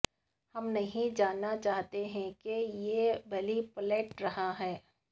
ہم نہیں جاننا چاہتے ہیں کہ یہ بلی پلاٹ رہا ہے